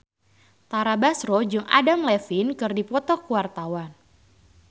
Tara Basro jeung Adam Levine keur dipoto ku wartawan